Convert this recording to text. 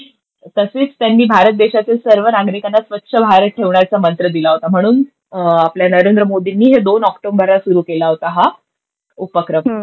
तसेच त्यांनी भारत देशातील सर्व नागरिकांना स्वच्छ भारत ठेवण्याचा मंत्र दिला होता. म्हणून आपल्या नरेंद्र मोदींनी हे दोन ऑक्टोबरला केला होता हा उपक्रम.